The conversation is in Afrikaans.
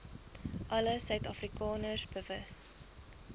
alle suidafrikaners bewus